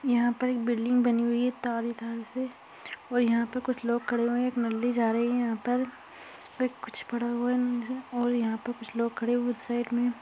यहां पर एक बिल्डिंग बनी हुई है तारों तारों से और यहां पर कुछ लोग खड़े हुए हैं एक मंडली जा रही है यहां पर वह कुछ पड़ा हुआ है और यहां पर कुछ खड़े हुए साइड में --